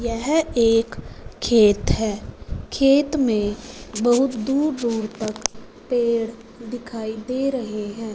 यह एक खेत है खेत में बहुत दूर दूर तक पेड़ दिखाई दे रहे हैं।